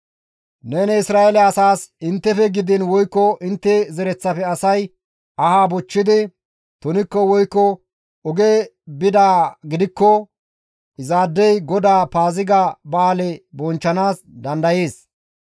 «Neni Isra7eele asaas, ‹Inttefe gidiin woykko intte zereththafe asay aha bochchidi tunikko woykko oge bidaa gidikko izaadey GODAA Paaziga ba7aale bonchchanaas dandayees.